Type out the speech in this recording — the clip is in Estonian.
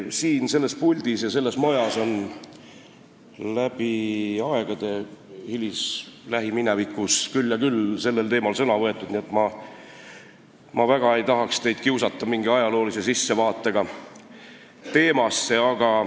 Siin selles puldis ja selles majas on läbi aegade, ka lähiminevikus küll ja küll sellel teemal sõna võetud, nii et ma väga ei tahaks teid kiusata mingi ajaloolise sissevaatega teemasse.